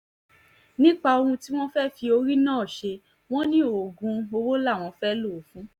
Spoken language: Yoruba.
nípa ohun tí wọ́n fẹ́ẹ́ fi orí náà ṣe wọ́n ní oògùn owó làwọn fẹ́ẹ́ lò ó fún